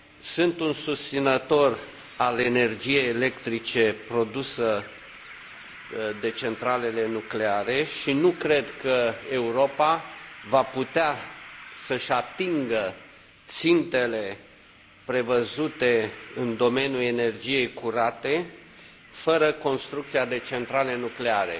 Sunt un susținător al energiei electrice produse de centralele nucleare și nu cred că Europa va putea să și atingă țintele prevăzute în domeniul energiei curate fără construcția de centrale nucleare.